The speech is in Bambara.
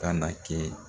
Ka na kɛ